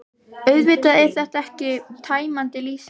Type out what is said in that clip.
Auðvitað er þetta ekki tæmandi lýsing.